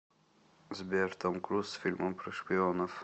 сбер том круз с фильмом про шпионов